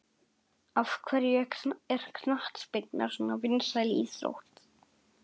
Af hverju er knattspyrna svona vinsæl íþrótt?